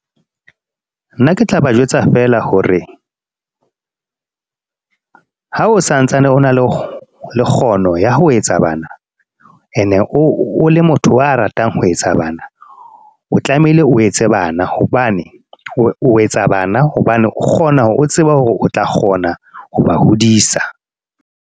Nna ke tla ba jwetsa feela hore ha o santsane o na le kgono ya ho etsa bana. E ne o le motho wa ratang ho etsa bana. O tlamehile o etse bana. Hobane o etsa bana, hobane o kgona hore o tsebe hore o tla kgona, ho ba hodisa.